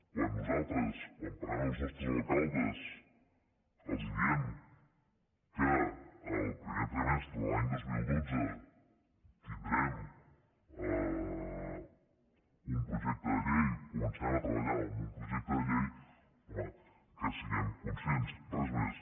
quan nosaltres quan parlem amb els nostres alcaldes els diem que el primer trimestre de l’any dos mil dotze tindrem un projecte de llei començarem a treballar en un projecte de llei home que en siguem conscients res més